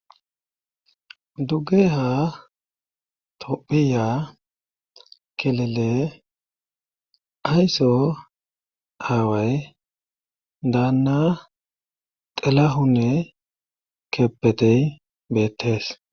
Dugge ha tophiya kelele aysso haaway daanna xelahune kepetey beettees